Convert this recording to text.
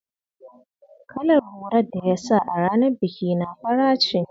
Kalar hular da ya sa a ranar bikina fara ce.